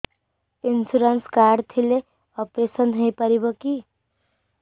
insurance card ଥିଲେ operation ହେଇପାରିବ କି